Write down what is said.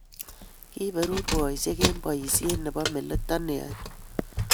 Kiiberur boisiek eng' boisiet nebomalekto neyoei inendet.